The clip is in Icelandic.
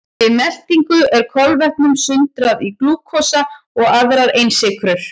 Við meltingu er kolvetnum sundrað í glúkósa og aðrar einsykrur.